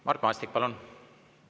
Mart Maastik, palun!